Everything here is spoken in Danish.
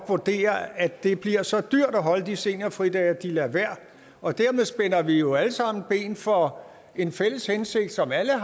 vurdere at det bliver så dyrt at holde de seniorfridage at de lader være og dermed spænder vi jo alle sammen ben for en fælles hensigt som alle har